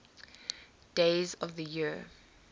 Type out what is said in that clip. days of the year